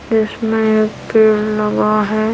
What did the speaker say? उसमें एक पेड़ लगा हैं।